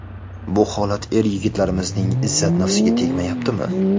Bu holat er-yigitlarimizning izzat-nafsiga tegmayaptimi?